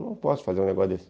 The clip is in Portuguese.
Não posso fazer um negócio desse.